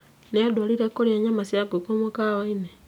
Nĩanduarire kũrĩa nyama cia ngũkũ mũkawa-inĩ